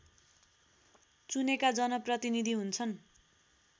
चुनेका जनप्रतिनीधि हुन्छन्